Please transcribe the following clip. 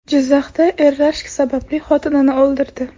Jizzaxda er rashk sababli xotinini o‘ldirdi.